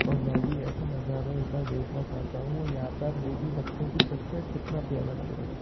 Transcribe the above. और मैं भी ऐसा नज़ारा एक बार देखना चाहता हूँ और यहाँ पर आप देख भी सकते हैं की सनसेट कितना प्यारा लग रहा है।